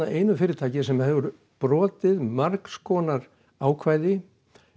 einu fyrirtæki sem hefur brotið margs konar ákvæði